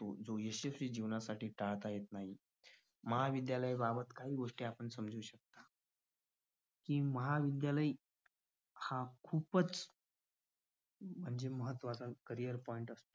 यशस्वी जीवनासाठी टाळता येत नाही महाविद्यालया बाबत खूप गोष्टी आपण समजू शकतो. ती महाविद्यालय हा खूपच म्हणजे महत्वाचा carrier point